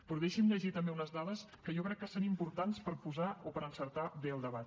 però deixi’m llegir també unes dades que jo crec que són importants per enfilar bé el debat